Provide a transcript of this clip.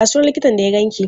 Ya sunan likitan da ya ganki?